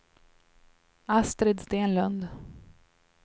Astrid Stenlund